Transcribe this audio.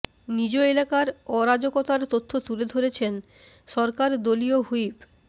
নিজ এলাকার অরাজকতার তথ্য তুলে ধরেছেন সরকার দলীয় হুইপ